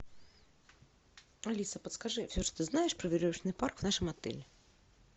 алиса подскажи все что ты знаешь про веревочный парк в нашем отеле